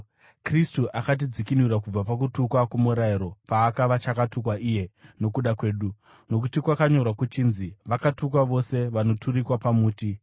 Kristu akatidzikinura kubva pakutukwa kwomurayiro paakava chakatukwa iye nokuda kwedu, nokuti kwakanyorwa kuchinzi: “Vakatukwa vose vanoturikwa pamuti.”